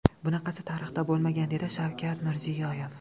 Bunaqasi tarixda bo‘lmagan”, dedi Shavkat Mirziyoyev.